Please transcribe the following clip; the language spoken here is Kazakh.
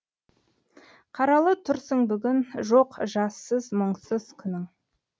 қаралы тұрсың бүгін жоқ жассыз мұңсыз күнің